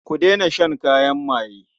Ku daina shan kayan maye.